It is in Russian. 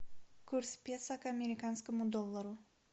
курс песо к американскому доллару